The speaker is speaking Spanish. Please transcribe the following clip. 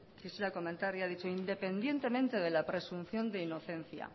quisiera comentar y ha dicho independientemente de la presunción de inocencia